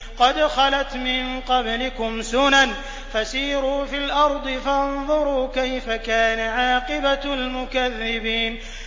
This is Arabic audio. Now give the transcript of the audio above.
قَدْ خَلَتْ مِن قَبْلِكُمْ سُنَنٌ فَسِيرُوا فِي الْأَرْضِ فَانظُرُوا كَيْفَ كَانَ عَاقِبَةُ الْمُكَذِّبِينَ